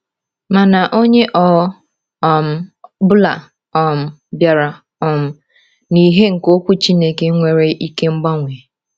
Mana onye ọ um bụla um bịara um n’ìhè nke Okwu Chineke nwere ike ịgbanwe.